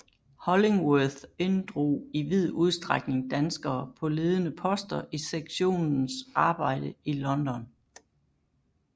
Hollingworth inddrog i vid udstrækning danskere på ledende poster i sektionens arbejde i London